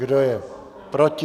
Kdo je proti?